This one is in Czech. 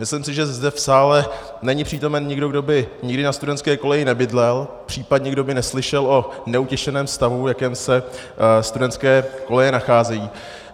Myslím si, že zde v sále není přítomen nikdo, kdo by nikdy na studentské koleji nebydlel, případně kdo by neslyšel o neutěšeném stavu, v jakém se studentské koleje nacházejí.